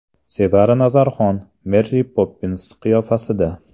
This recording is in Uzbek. Sevara Nazarxon Meri Poppins qiyofasida.